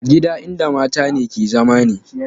Gida in da matane ke zama ne